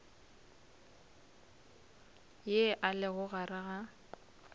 ye e lego gare ga